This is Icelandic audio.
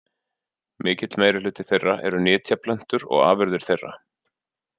Mikill meirihluti þeirra eru nytjaplöntur og afurðir þeirra.